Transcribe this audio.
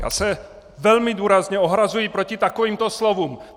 Já se velmi důrazně ohrazuji proti takovýmto slovům!